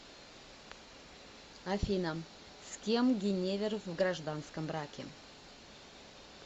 афина с кем гиневер в гражданском браке